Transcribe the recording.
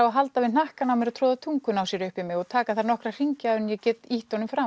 að halda í hnakkan á mér og troða tungunni sinni upp í mig og taka þar nokkra hringi áður en ég get ýtt honum frá